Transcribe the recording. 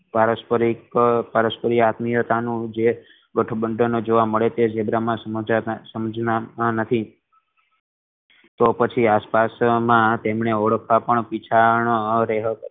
આત્મિયતા નું જે ગઠબંધન જોવા મળે તે ઝીબ્રા ના સાંજ માં નથી તો પછી આસપાસના તેમને ઓળખાતા